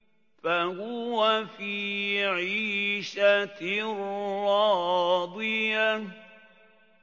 فَهُوَ فِي عِيشَةٍ رَّاضِيَةٍ